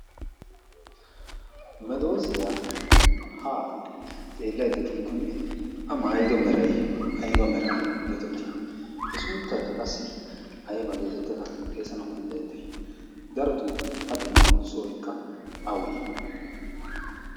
Medoosiyaa haa xeellaYdda de'ikkonne a maayido meray ayba mera geetettii? e sunttaykka qassi ayba geetettid xeesanawu danddayetti? Darotoo a de'iyo sohoykka awe?